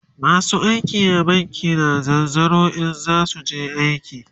masu aiki a banki na zanzaro in zasuje aiki